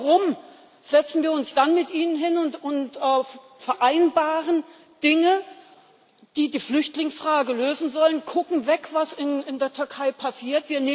Warum setzen wir uns dann mit Ihnen hin und vereinbaren Dinge, die die Flüchtlingsfrage lösen sollen, kucken weg bei dem, was in der Türkei passiert?